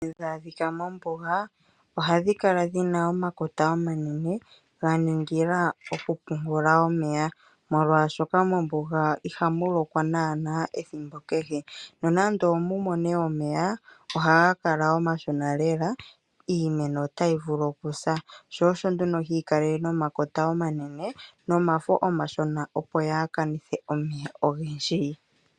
Omiti tadhi adhika mombuga oha dhi kala dhina omakota omanene okupungula omeya. Molwaashoka mombuga ihamulokwa naanaa ethimbo kehe , nonando omumone omeya ohaga kala omashona lela, Iimeno otayi vulu okusa. Shoosho nduno yikale nomakota omanene nomafo omashona opo yaakanithe omeya ogendji.